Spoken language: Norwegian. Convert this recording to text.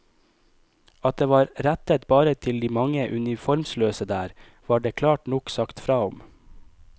At det var rettet bare til de mange uniformsløse der, var det klart nok sagt fra om.